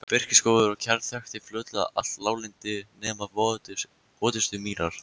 Birkiskógur og kjarr þakti fljótlega allt láglendi nema votustu mýrar.